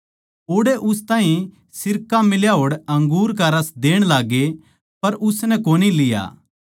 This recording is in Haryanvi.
ओड़ै उस ताहीं सिरका मिल्या होड़ अंगूर का रस देण लाग्गे पर उसनै कोनी लिया